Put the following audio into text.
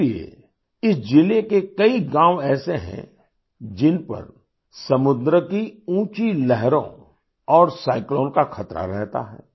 इसलिए इस जिले के कई गांव ऐसे हैं जिन पर समुंद्र की ऊँची लहरों और साइक्लोन का खतरा रहता है